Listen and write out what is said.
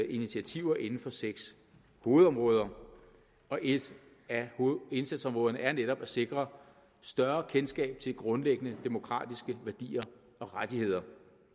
initiativer inden for seks hovedområder og et af indsatsområderne er netop at sikre større kendskab til grundlæggende demokratiske værdier og rettigheder